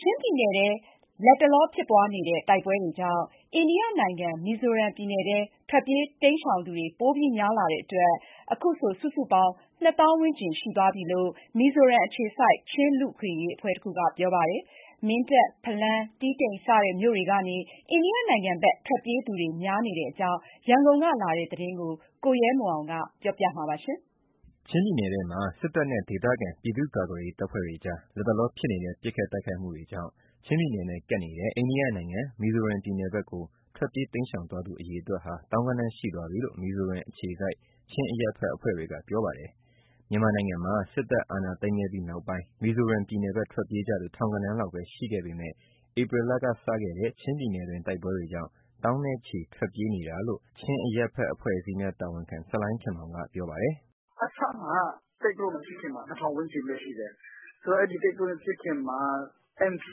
ချင်းပြည်နယ်ထဲ လက်တလောဖြစ်ပွားနေတဲ့ တိုက်ပွဲတွေကြောင့် အိန္ဒိယနိုင်ငံ မီဇိုရမ်ပြည်နယ်ထဲ ထွက်ပြေး တိမ်းရှောင်သူတွေ ပိုများလာတဲ့အတွက် အခုဆို စုစုပေါင်း ၂၀, ၀၀၀ ဝန်းကျင်ရှိသွားပြီလို့ မီဇိုရမ်အခြေစိုက် ချင်းလူ့အခွင့်အရေးအဖွဲ့တခုက ပြောပါတယ်။ မင်းတပ်၊ ဖလမ်း၊ တီးတိန် စတဲ့မြို့တွေကနေ အိန္ဒိယနိုင်ငံဘက် ထွက်ပြေးသူတွေ များနေတဲ့အကြောင်း ရန်ကုန်ကလာတဲ့သတင်းကို ကိုရဲမွန်ကပြောပြပေးမှာပါ။ ချင်းပြည်နယ်ထဲမှာ စစ်တပ်နဲ့ ဒေသခံ ပြည်သူ့ကာကွယ်ရေး တပ်ဖွဲ့တွေကြား လတ်တလောဖြစ်နေတဲ့ ပစ်ခတ် တိုက်ခိုက်မှုတွေကြောင့် ချင်းပြည်နယ်နဲ့ ကပ်နေတဲ့ အိန္ဒိယနိုင်ငံ မီဇိုရမ်ပြည်နယ်ဖက် ထွက်ပြေး တိမ်းရှောင်သွားသူ အရေအတွက်ဟာ သောင်းဂဏန်းရှိသွားပြီလို့ မီဇိုရမ်အခြေစိုက် ချင်းအရပ်ဘက်အဖွဲ့တွေက ပြောပါတယ်။ မြန်မာနိုင်ငံမှာ စစ်တပ်အာဏာသိမ်းခဲ့ပြီးနောက်ပိုင်း မီဇိုရမ်ပြည်နယ်ဘက် ထွက်ပြေးကြသူ ထောင်ဂဏန်းလောက်ပဲ ရှိပေမဲ့ ဧပြီလက စခဲ့တဲ့ ချင်းပြည်နယ်တွင်း တိုက်ပွဲတွေကြောင့် သောင်းနဲ့ချီ ထွက်ပြေးနေတာဖြစ်ကြောင်း ချင်းအရပ်ဘက်အဖွဲ့အစည်းများ တာဝန်ခံ ဆလိုင်းခင်မောင်က ပြောပါတယ်။ “အစမှာ သိပ်ပြီးမဖြစ်ခင်မှာ ၂၀၀၀ ဝန်းကျင်လောက်ပဲရှိတယ်။ အဲဒီတော့ ဒီတိုက်ပွဲ မဖြစ်ခင်မှာ MP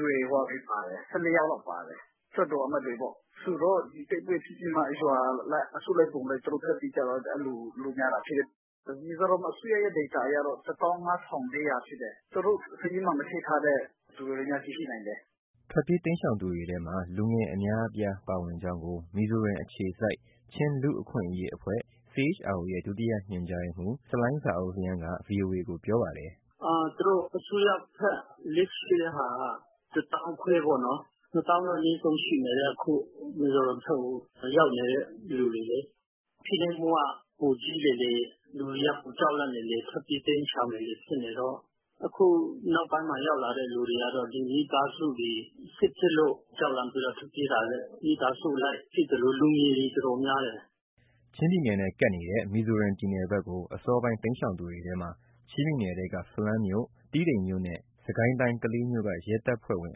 တွေ လွှတ်တော်အမတ်တွေ ၁၄ ယောက်လောက် ပါတယ်။ ဆိုတော့ ဒီတိုက်ပွဲဖြစ်ပြီးမှ ရွာအလိုက် အစုလိုက်အပြုံလိုက်ထွက်ပြေး ကြတော့ အဲလို လူများလာတာ ဖြစ်တယ်။ မီဇိုရမ်အစိုးရရဲ့ data အရတော့ ၁၅၄၀၀ ဖြစ်တယ်။ သူတို့စာရင်းမှာ မထည့်ထားတဲ့ သူတွေအများကြီး ရှိနိုင်တယ်။” ထွက်ပြေးတိမ်းရှောင် သူတွေထဲမှာ လူငယ် အများအပြားပါကြောင်း မီဇိုရမ်အခြေစိုက် ချင်းလူ့အခွင့်အရေးအဖွဲ့ CHRO ရဲ့ ဒုတိယ ညွှန်ကြားရေးမှူး ဆလိုင်းဇာအုပ်လိန်းကလည်း ဗွီအိုအေကို ပြောပါတယ်။ “သူတို့အစိုးရဘက် list ရှိတဲ့ဟာက ၁၅,၀၀၀ ပေါ့နော်။ ၂၀,၀၀၀ တော့အနည်းဆုံးရှိတယ်အခု မီဇိုရမ်ပြည်နယ်ဘက် ရောက်နေသူတွေ။ ဖိနှိပ်မှုက ပိုကြီးလေလေ လူတွေက ပိုကြောက်လန့်လေလေ၊ ထွက်ပြေး တိမ်းရှောင်လေလေ ဖြစ်နေတော့။ အခုနောက်ပိုင်း ရောက်လာတဲ့သူတွေ မိသားစုအလိုက် ရှိသလို လူငယ်တွေ အတော်များတယ်။” ချင်းပြည်နယ်နဲ့ ကပ်နေတဲ့ မီဇိုရမ်ပြည်နယ်ဘက်ကို အစောပိုင်း တိမ်းရှောင်သူတွေထဲမှာ ချင်းပြည်နယ်ထဲက ဖလမ်းမြို့၊ တီးတိန်မြို့နဲ့ စစ်ကိုင်းတိုင်း ကလေးမြို့က ရဲတပ်ဖွဲ့ဝင်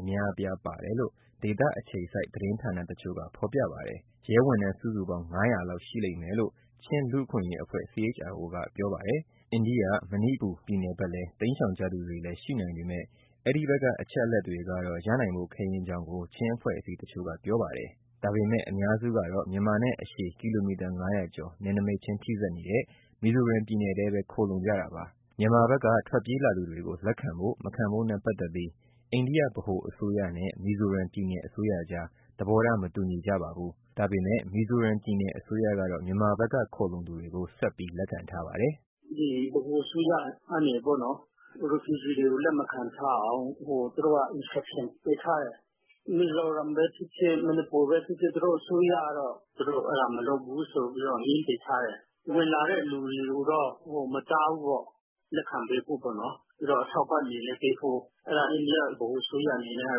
အများအပြားပါတယ်လို့ ဒေသခြေစိုက် သတင်းဌာနတချို့က ဖော်ပြပါတယ်။ ရဲဝန်ထမ်းစုစုပေါင်း ၅၀၀ လောက်ရှိလိမ့်မယ်လို့ ချင်းလူ့အခွင့်အရေးအဖွဲ့ CHRO ကပြောပါတယ်။ အိန္ဒိယ၊ မဏိပူပြည်နယ်ဘက်လည်း တိမ်းရှောင်ကြသူတွေလည်း ရှိနိုင်ပေမဲ့ အဲဒီဘက်က အချက်အလက်တွေကတော့ ရနိုင်ဖို့ခဲယဉ်းကြောင်း ချင်းအဖွဲ့အစည်း တချို့က ပြောပါတယ်။ ဒါပေမဲ့ အများစုကတော့ မြန်မာနဲ့ အရှည်ကီလိုမီတာ၅၀၀ ကျော် နယ်နမိတ်ထိစပ်နေတဲ့ မီဇိုရမ်ပြည်နယ်ထဲပဲ ခိုလှုံကြတာပါ။ မြန်မာဘက်က ထွက်ပြေးလာသူတွေကို လက်ခံဖို့၊ မခံဖို့နဲ့ ပတ်သက်ပြီး အိန္ဒိယ ဗဟိုအစိုးရနဲ့ မီဇိုရမ်ပြည်နယ်အစိုးရကြား သဘောထား မတူညီကြပါဘူး။ ဒါပေမဲ့ မီဇိုရမ်ပြည်နယ် အစိုးရကတော့ မြန်မာဘက်က ခိုလှုံသူတွေကို ဆက်ပြီးလက်ခံထားပါတယ်။ “ဗဟိုအစိုးရကနေ refugees ( ဒုက္ခသည်) တွေကို လက်မခံထားအောင် သူတို့က ညွှန်ကြားထားတယ်။ မီဇိုရမ်ပဲဖြစ်ဖြစ် မဏိပူပဲဖြစ်ဖြစ် သူတို့အစိုးရကတော့ သူတို့အဲဒါမလုပ်ဘူးဆိုပြီး ငြင်းပယ်ထားတယ်၊ ဝင်လာတဲ့ သူတွေကိုတော့ မတားဘူးပေါ့ လက်ခံပေးဖို့ပေါ့နော်။ ပြီးတော့ အထောက်ပံ့တွေလည်း ပေးဖို့။ အဲဒါ အိန္ဒိယ ဗဟိုအစိုးရအနေနဲ့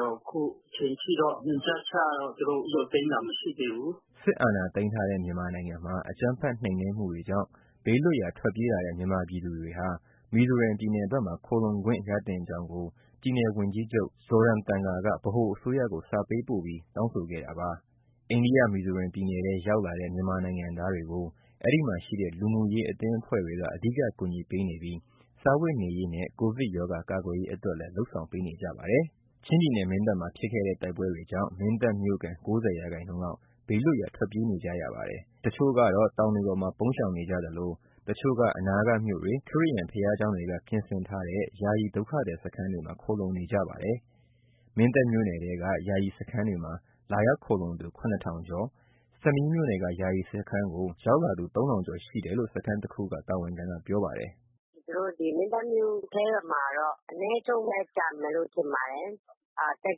က အခုအချိန်အထိတော့ ညွှန်ကြားချက်ကတော့ သူတို့ရုတ်သိမ်းတာ မရှိသေးဘူး။” ချင်းလူ့အခွင့်ရေးအဖွဲ့ CHRO က ဆလိုင်းဇာအုပ်လျဲန်း ပြောသွားတာ ဖြစ်ပါတယ်။ စစ်အာဏာသိမ်းထားတဲ့ မြန်မာနိုင်ငံမှာ အကြမ်းဖက် နှိမ်နင်းမှုတွေကြောင့်ဘေးလွတ်ရာ ထွက်ပြေးလာတဲ့ မြန်မာပြည်သူတွေဟာ မီဇိုရမ်ပြည်နယ်မှာ ခိုလှုံခွင့်ရသင့်ကြောင်း ပြည်နယ်ဝန်ကြီးချုပ် Zoramthamga က ဗဟိုအစိုးရကို စာပေးပို့ပြီး တောင်းဆိုခဲ့တာပါ။ အိန္ဒိယ မီဇိုရမ်ပြည်နယ်ထဲ ရောက်လာတဲ့ မြန်မာနိုင်ငံသားတွေကို အဲဒီမှာရှိတဲ့ လူမှုရေး အသင်းအဖွဲ့တွေက အဓိကကူညီနေပြီး စားဝတ်နေရေးနဲ့ ကိုဗစ်ရောဂါ ကာကွယ်ရေးအတွက်လည်း လုပ်ဆောင်ပေးနေကြပါတယ်။ ချင်းပြည်နယ် မင်းတပ်မှာ ဖြစ်ခဲ့တဲ့ တိုက်ပွဲတွေကြောင့် မင်းတပ်မြို့ခံ ၉၀% လောက် ဘေးလွတ်ရာ ထွက်ပြေးနေကြရပါတယ်။ တချို့က တော တောင်တွေပေါ်မှာ ပုန်းရှောင်နေကြသလို၊ တချို့ အနားကမြို့တွေ၊ ခရစ်ယာန်ဘုရားကျောင်းတွေက ပြင်ဆင်ထားတဲ့ ယာယီ ဒုက္ခသည်စခန်းတွေမှာ ခိုလှုံနေကြပါတယ်။ မင်းတပ်မြို့နယ်ထဲက ယာယီစခန်းတွေမှာ လာရောက်ခိုလှုံသူ ၇ ထောင်ကျော်၊ ဆမီးမြို့နယ်က ယာယီစခန်းကို ရောက်လာသူ ၃ ထောင်ကျော် ရှိတယ်လို့ စခန်းတခု တာဝန်ခံက ပြောပါတယ်။ “ မင်းတပ်မြို့ထဲမှာတော့ အနည်းဆုံးပဲ ကျန်မယ်လို့ ထင်ပါတယ်။ သက်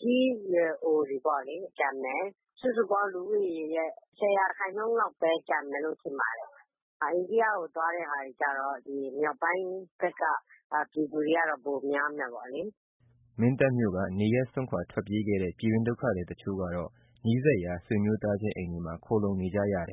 ကြီးရွယ်အိုတွေ ကျန်မယ်၊ စုစုပေါင်း လူဦးရေရဲ့ ၁၀ ရာခိုင်နှုန်းလောက်ပဲ ကျန်မယ်လို့ ထင်ပါတယ်။ အိန္ဒိယကို သွားမယ့်ဟာတွေကျတော့ မြောက်ပိုင်းဘက်က ပြည်သူတွေက ပိုများမယ်ပေါ့လေ။” မင်းတပ်မြို့က နေရပ်စွန်ထွက်ပေးခဲ့တဲ့ ပြည်တွင်း ဒုက္ခသည်တချို့ကတော့ နီးစပ်ရာ ဆွေမျိုးသားချင်း အိမ်တွေမှာ ခိုလှုံနေကြပါတယ်။